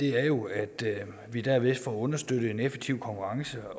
er jo at vi derved får understøttet en effektiv konkurrence